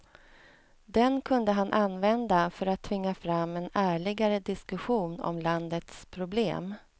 Den kunde han använda för att tvinga fram en ärligare diskussion om landets problem.